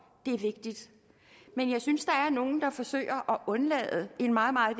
det er vigtigt men jeg synes der er nogen der forsøger at undlade en meget meget